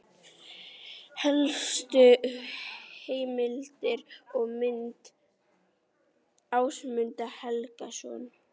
Helstu heimildir og mynd: Ásmundur Helgason.